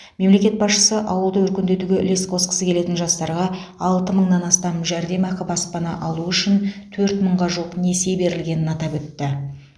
мемлекет басшысы ауылды өркендетуге үлес қосқысы келетін жастарға алты мыңнан астам жәрдемақы баспана алу үшін төрт мыңға жуық несие берілгенін атап өтті